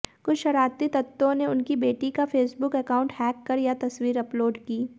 कुछ शरारती तत्वों ने उनकी बेटी का फेसबुक अकाउंट हैक कर यह तस्वीर अपलोड की